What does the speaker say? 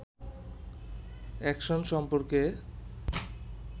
action সম্পর্কে